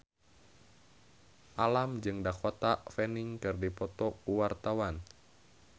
Alam jeung Dakota Fanning keur dipoto ku wartawan